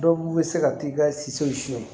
Dɔw bɛ se ka t'i ka si sow siyɛn